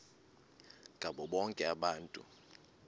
ngabo bonke abantu